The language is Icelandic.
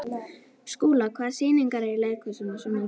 Skúla, hvaða sýningar eru í leikhúsinu á sunnudaginn?